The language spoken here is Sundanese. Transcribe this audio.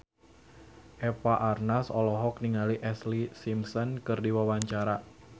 Eva Arnaz olohok ningali Ashlee Simpson keur diwawancara